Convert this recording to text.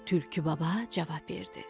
Tülkü baba cavab verdi: